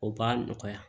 O b'a nɔgɔya